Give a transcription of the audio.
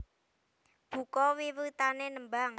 Buka wiwitané nembang